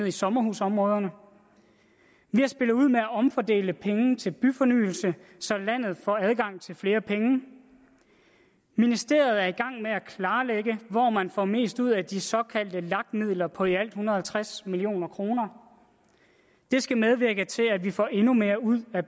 i sommerhusområderne vi har spillet ud med at omfordele penge til byfornyelse så landet får adgang til flere penge ministeriet er i gang med at klarlægge hvor man får mest ud af de såkaldte lag midler på i alt en hundrede og tres million kroner det skal medvirke til at vi får endnu mere ud af